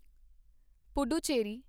Puducherry